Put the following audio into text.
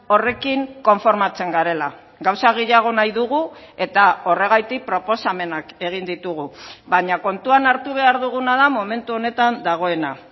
horrekin konformatzen garela gauza gehiago nahi dugu eta horregatik proposamenak egin ditugu baina kontuan hartu behar duguna da momentu honetan dagoena